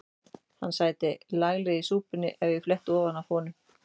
Hann sæti laglega í súpunni ef ég fletti ofan af honum.